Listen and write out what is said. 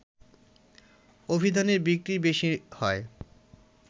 অভিধানের বিক্রি বেশি হয়